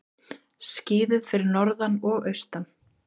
Skíðað fyrir norðan og austan